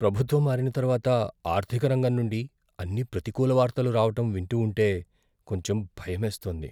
ప్రభుత్వం మారిన తరువాత ఆర్థిక రంగం నుండి అన్ని ప్రతికూల వార్తలు రావటం వింటూ ఉంటే కొంచెం భయమేస్తోంది.